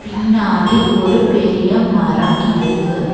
பின்னாடி ஒரு பெரிய மரம் இருக்கு.